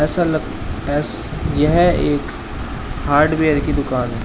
ऐसा लग ऐस यह एक हार्डवेयर की दुकान है।